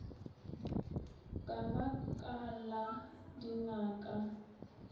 ka ba ka la dingaka